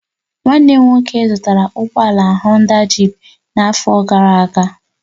Nwanne m nwoke zụtara ụgbọ ala Honda jịp n'afọ gara aga